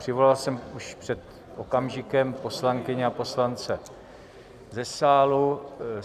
Přivolal jsem už před okamžikem poslankyně a poslance do sálu.